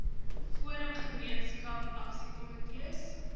forum gemeenskap aksiekomitees